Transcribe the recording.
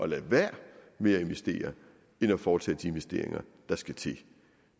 lade være med at investere end at foretage de investeringer der skal til